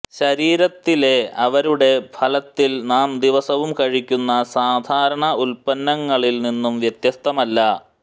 ശരീരത്തിലെ അവരുടെ ഫലത്തിൽ നാം ദിവസവും കഴിക്കുന്ന സാധാരണ ഉൽപ്പന്നങ്ങളിൽ നിന്നും വ്യത്യസ്തമല്ല